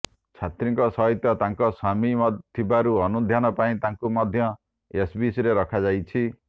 ଛାତ୍ରୀଙ୍କ ସହିତ ତାଙ୍କ ସ୍ବାମୀ ଥିବାରୁ ଅନୁଧ୍ୟାନ ପାଇଁ ତାଙ୍କୁ ମଧ୍ୟ ଏସ୍ସିବିରେ ରଖାଯାଇଛି